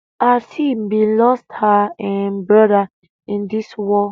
aseel bin lost her um brother in dis war